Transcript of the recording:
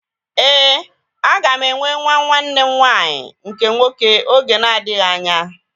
Éè, aga m enwe nwa nwanne m nwanyị nke nwoke oge na-adịghị anya